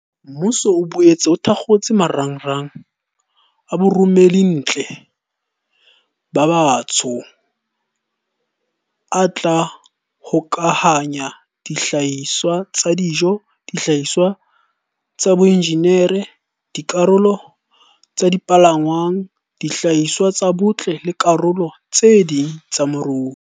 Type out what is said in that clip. Mmuso o boetse o thakgotse marangrang a baromellintle ba batsho a tla hokahanya dihlahiswa tsa dijo, dihlahiswa tsa boinjinere, dikarolo tsa dipalangwang, dihlahiswa tsa botle le dikarolo tse ding tsa moruo.